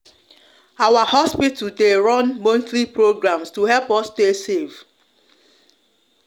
our hospital de de run monthly programs to help us stay safe